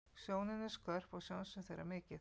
Sjónin er skörp og sjónsvið þeirra mikið.